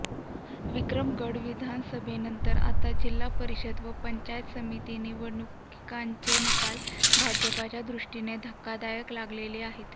विक्रमगड विधानसभेनंतर आता जिल्हा परिषद व पंचायत समिती निवडणुकांचे निकालही भाजपच्या दृष्टीने धक्कादायक लागलेले आहेत